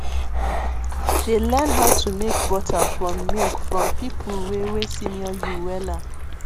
dey learn how to make butter from milk from people wey wey senior you wella